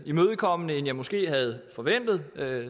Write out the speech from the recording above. imødekommende end jeg måske havde forventet